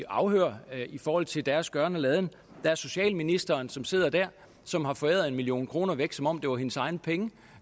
afhøres i forhold til deres gøren og laden der er socialministeren som sidder dér som har foræret en million kroner væk som om det var hendes egne penge